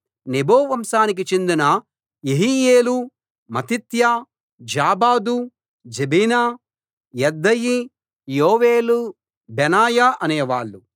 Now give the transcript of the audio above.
Nebo వంశానికి చెందిన Jeiel Mattithiah Zabad Zebina Jadau Joel Benaiah అనేవాళ్ళు